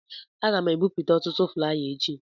Aga m ebipụta ọtụtụ flaya echi.